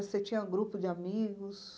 Você tinha grupo de amigos?